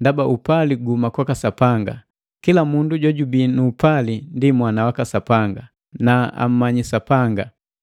ndaba upali guhuma kwaka Sapanga. Kila mundu jojubii nu upali ndi mwana waka Sapanga, na ammanyiki Sapanga.